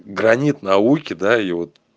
гранит науки даёт